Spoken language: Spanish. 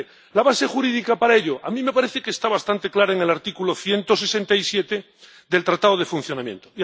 ¿La base jurídica para ello? A mí me parece que está bastante claro en el artículo 167 del Tratado de Funcionamiento.